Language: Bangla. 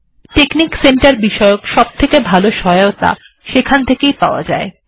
টেকনিক সেন্টার এর বিষয়ে সবথেকে ভালো সহায়তা আপনি টেকনিক সেন্টার থেকেই পেতে পারেন